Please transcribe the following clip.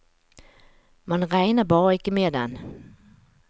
Man regner bare ikke med den.